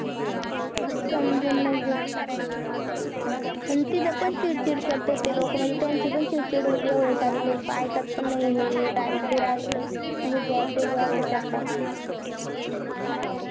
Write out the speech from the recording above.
समजून नाही घेत, तिथं पण चिडचिड करतात ते लोक म्हणजे त्यांचे पण चीडचीड होती, येवढे सारे लोक ऐकत पण नाही हे राहील ते राहील तर हे घ्या ते घ्या असं करतात